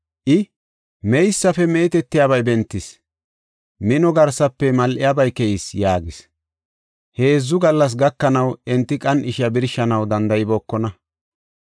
I, “Meysafe meetetiyabay bentis; minuwa garsafe mal7iyabay keyis” yaagis. Heedzu gallas gakanaw enti qan7ishiya birshanaw danda7ibookona.